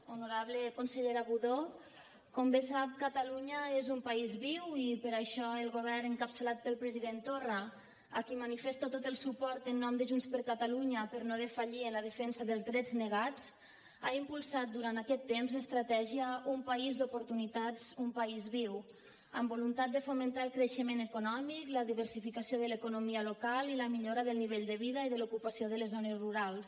honorable consellera budó com bé sap catalunya és un país viu i per això el govern encapçalat pel president torra a qui manifesto tot el suport en nom de junts per catalunya per no defallir en la defensa dels drets negats ha impulsat durant aquest temps l’estratègia un país d’oportunitats un país viu amb voluntat de fomentar el creixement econòmic la diversificació de l’economia local i la millora del nivell de vida i de l’ocupació de les zones rurals